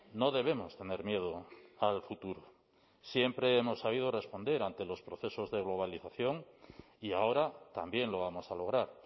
no debemos tener miedo al futuro siempre hemos sabido responder ante los procesos de globalización y ahora también lo vamos a lograr